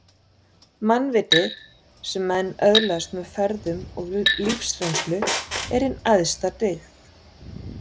Mannvitið, sem menn öðlast með ferðum og lífsreynslu, er hin æðsta dyggð